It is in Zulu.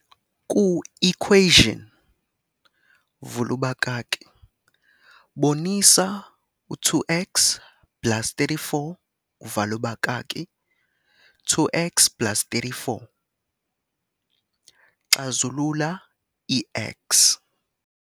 Ku-equation, bonisa 2x plus 3 4, 2x plus 3 4, Xazulula i-X.